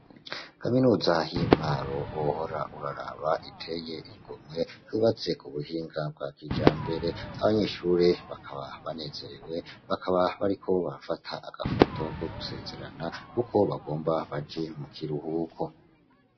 Kaminuza y'i Mwaro, wohora uraraba iteye igomwe. Yubatse ku buhinga bwa kijambere. Abanyeshure bakaba banezerewe. Bakaba bariko bafata agafoto ko gusezerana kuko bagomba baje mu kiruhuko.